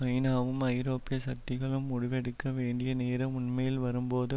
ஐநாவும் ஐரோப்பிய சக்திகளும் முடிவெடுக்க வேண்டிய நேரம் உண்மையில் வரும்போது